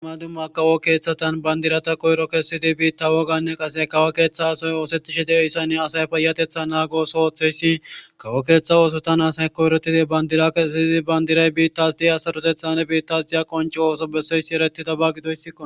Duma duma kawo kethayan bandira koyro kesodi wothes